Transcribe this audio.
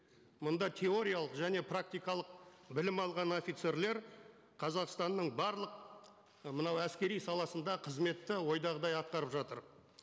мұнда теориялық және практикалық білім алған офицерлер қазақстанның барлық мынау әскери саласында қызметті ойдағыдай атқарып жатыр